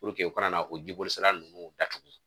u kana na o jiboli sira nunnu datuku.